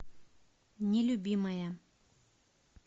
нелюбимая